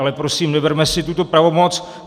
Ale prosím, neberme si tuto pravomoc.